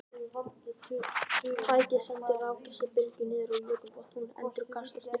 Tækið sendir rafsegulbylgju niður á jökulbotn og hún endurkastast upp á yfirborð.